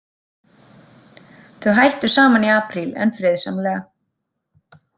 Þau hættu saman í apríl en friðsamlega.